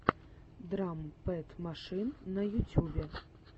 драм пэд машин на ютюбе